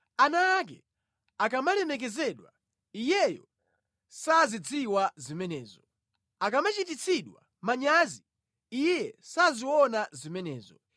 Ana ake akamalemekezedwa, iyeyo sazidziwa zimenezo; akamachititsidwa manyazi iye saziona zimenezo.